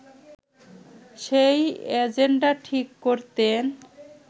সেই এজেন্ডা ঠিক করতেন